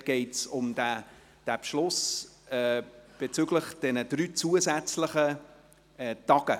Dabei geht es um die beschlossenen zusätzlichen drei Sessionstage.